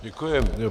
Děkuji.